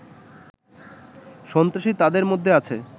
সন্ত্রাসী তাদের মধ্যে আছে